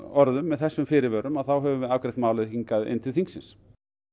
orðum með þessum fyrirvörum þá höfum við afgreitt málið hingað inn til þingsins